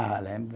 Ah, lembro.